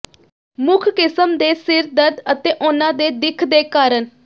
ਮੁੱਖ ਕਿਸਮ ਦੇ ਸਿਰ ਦਰਦ ਅਤੇ ਉਹਨਾਂ ਦੇ ਦਿੱਖ ਦੇ ਕਾਰਨ